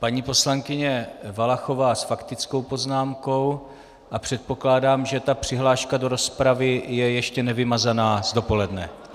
Paní poslankyně Valachová s faktickou poznámkou a předpokládám, že ta přihláška do rozpravy je ještě nevymazaná z dopoledne.